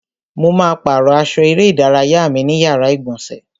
Mo ma pàrọ́ aṣọ eré ìdárayá mi ní yàrá ìgbọ̀nsẹ̀.